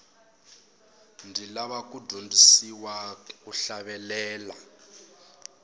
ndzi lava ku dyondzisiwa ku hlavelela